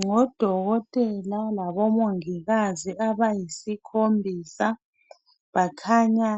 Ngodokotela labomongikazi abayisikhombisa bakhanya